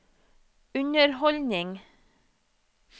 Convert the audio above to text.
underholdning